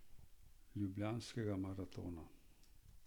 Ljubljanskega maratona.